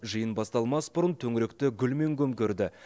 жиын басталмас бұрын төңіректі гүлмен көмкерді